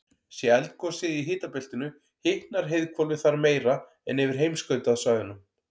sé eldgosið í hitabeltinu hitnar heiðhvolfið þar meira en yfir heimskautasvæðunum